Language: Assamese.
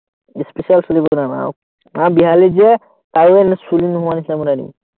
especial চুলি বনাম, আমাৰ বিহালীত যে কাৰো এনেকুৱা চুলি নোহোৱা নিচিনা বনাই দিম